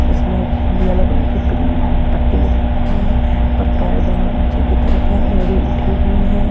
एसमें yellow colour की pin पट्टी लगी हुई है और पैड दोनों ऊंचे की तरफ है एड़ी उठी हुई हैं।